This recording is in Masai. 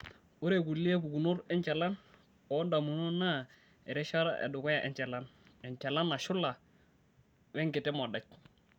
Ore kulie pukunot enchalan oondamunot naa erishata edukuya enchalan, enchalan nashula wenkiti modai.